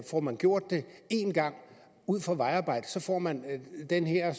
får man gjort det én gang ud for vejarbejde får man den her